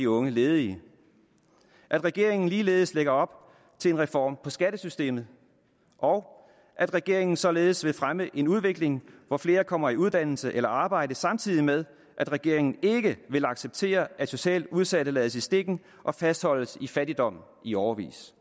unge ledige at regeringen ligeledes lægger op til en reform af skattesystemet og at regeringen således vil fremme en udvikling hvor flere kommer i uddannelse eller arbejde samtidig med at regeringen ikke vil acceptere at socialt udsatte lades i stikken og fastholdes i fattigdom i årevis